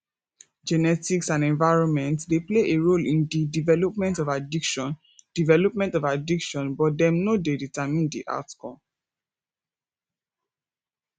genetics and environment dey play a role in di development of addiction development of addiction but dem no dey determine di outcome